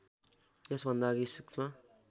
यसभन्दा अघि सूक्ष्म